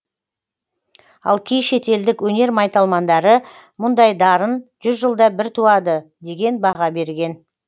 ал кей шетелдік өнер майталмандары мұндай дарын жүз жылда бір туады деген баға берген